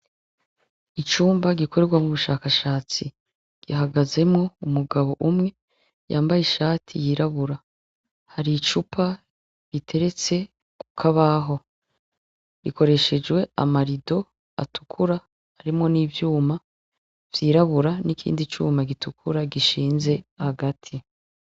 Icumba gikorerwamwo ubushakashatsi gihagazemwo umugabo umwe yambaye ishati yirabura , hari icupa riteretse ku kabaho. Gikoreshejwe amarido atukura arimwo n'ivyuma vyirabura n'ikindi cuma gishinze hagati.